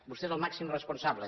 vostè és el màxim responsable